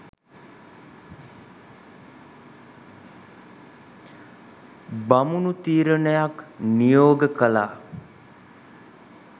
බමුණු තීරණයක් නියෝග කළා.